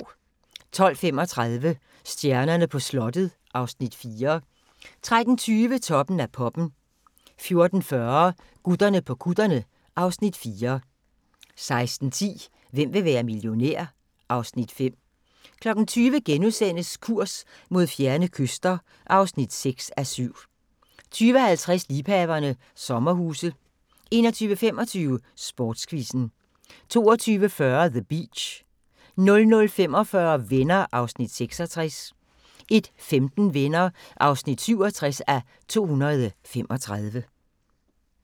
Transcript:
12:35: Stjernerne på slottet (Afs. 4) 13:20: Toppen af poppen 14:40: Gutterne på kutterne (Afs. 4) 16:10: Hvem vil være millionær? (Afs. 5) 20:00: Kurs mod fjerne kyster (6:7)* 20:50: Liebhaverne – sommerhuse 21:25: Sportsquizzen 22:40: The Beach 00:45: Venner (66:235) 01:15: Venner (67:235)